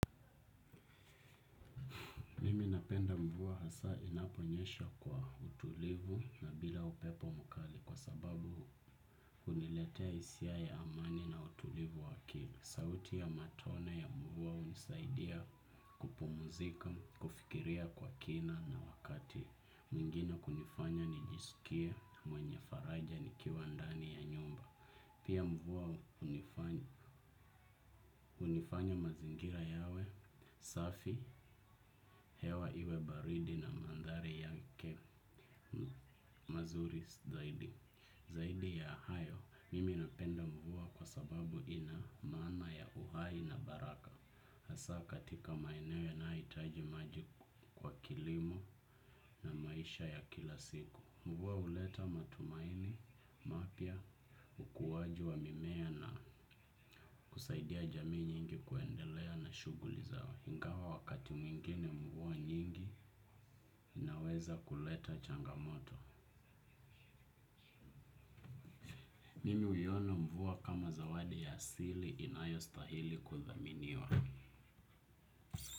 Mimi napenda mvua hasa inaponyesha kwa utulivu na bila upepo mukali kwa sababu, uniletea hisia ya amani na utulivu wa akili. Sauti ya matone ya mvua unisaidia kupumuzika, kufikiria kwa kina na wakati. Mengine kunifanya nijisikie mwenye faraja nikiwa ndani ya nyumba. Pia, mvua hunifanya mazingira yawe, safi, hewa iwe baridi na mandhari yake mazuris zaidi. Zaidi ya hayo, mimi napenda mvua kwa sababu ina, maana ya uhai na baraka. Hasaa katika maeneo yanaeitajimaji, kwa kilimo na maisha ya kila siku. Mvua huleta matumaini, mapya, ukuwaji wa mimea na, kusaidia jamii nyingi kuendelea na shughuli zao. Hingawa wakati mwingine mvua nyingi, inaweza kuleta changamoto. Mimi huiona mvua kama zawadi ya asili inayo stahili kudhaminiwa.